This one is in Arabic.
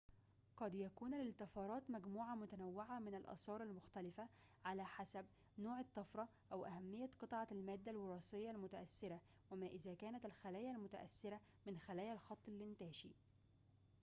قد يكون للطفرات مجموعة متنوعة من الآثار المختلفة على حسب نوع الطفرة وأهميّة قطعة المادّة الوراثيّة المتأثّرة وما إذا كانت الخلايا المتأثرة من خلايا الخط الإنتاشي